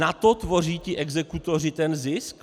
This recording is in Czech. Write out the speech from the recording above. Na to tvoří ti exekutoři ten zisk?